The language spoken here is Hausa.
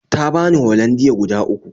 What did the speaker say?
Ta bani Hollandia guda uku